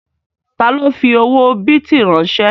Ta ló fi owó bìtì ránsẹ́?